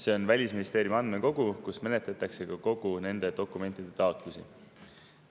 See on Välisministeeriumi andmekogu, kus menetletakse ka nende dokumentide taotlusi.